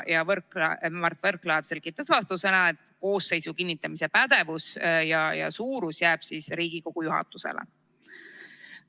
Mart Võrklaev selgitas vastusena, et koosseisu suuruse kinnitamise pädevus jääb Riigikogu juhatusele.